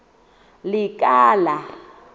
lekala